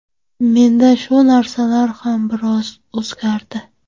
Menda shu narsalar ham biroz o‘zgardi”.